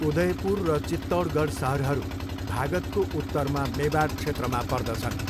उदयपुर र चितौडगढ सहरहरू भागदको उत्तरमा मेवाड क्षेत्रमा पर्दछन्।